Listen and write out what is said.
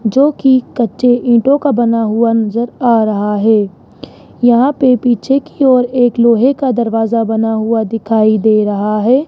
जो की कच्चे ईंटों का बना हुआ नजर आ रहा है यहां पे पीछे की ओर एक लोहे का दरवाजा बना हुआ दिखाई दे रहा है।